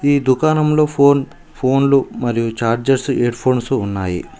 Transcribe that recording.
ఈ దుకాణంలో ఫోన్ ఫోన్లు మరియు చార్జెస్సు ఎడ్ఫోన్సు ఉన్నాయి.